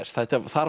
það